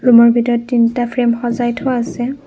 ৰূমৰ ভিতৰত তিনটা ফ্ৰেম সজায় থোৱা আছে।